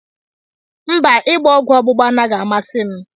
Mba, ịgba ọgwụ ọgbụgba anaghị amasị m